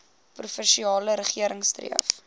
provinsiale regering streef